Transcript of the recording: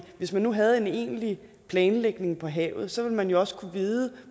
hvis man nu havde en egentlig planlægning for havet så ville man jo også kunne vide